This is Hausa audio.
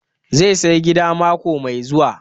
Zai saya gida mako mai zuwa